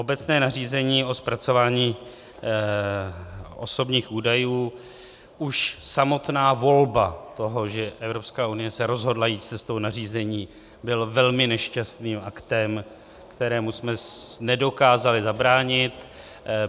Obecné nařízení o zpracování osobních údajů - už samotná volba toho, že Evropská unie se rozhodla jít cestou nařízení, byla velmi nešťastným aktem, kterému jsme nedokázali zabránit.